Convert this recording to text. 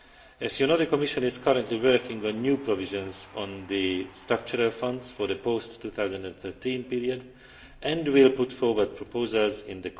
As you know, the Commission is currently working on new provisions on the structural funds for the post 2013 period and will put forward proposals in